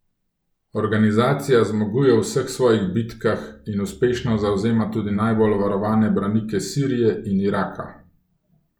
Organizacija zmaguje v vseh svojih bitkah in uspešno zavzema tudi najbolj varovane branike Sirije in Iraka.